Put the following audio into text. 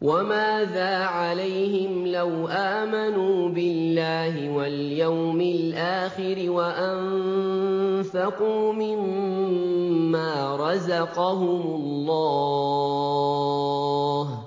وَمَاذَا عَلَيْهِمْ لَوْ آمَنُوا بِاللَّهِ وَالْيَوْمِ الْآخِرِ وَأَنفَقُوا مِمَّا رَزَقَهُمُ اللَّهُ ۚ